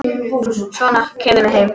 Svona, keyrðu mig heim.